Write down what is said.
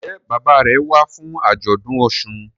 Njé Bàbá rẹ wá fún ajọdun òsùn?